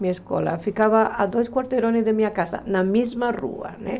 Minha escola ficava a dois quarteirões da minha casa, na mesma rua, né?